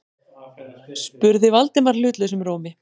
spurði Valdimar hlutlausum rómi.